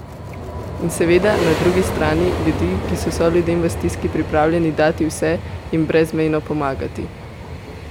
In seveda, na drugi strani, ljudi, ki so soljudem v stiski pripravljeni dati vse, jim brezmejno pomagati?